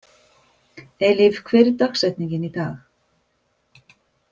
Eilíf, hver er dagsetningin í dag?